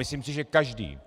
Myslím si, že každý,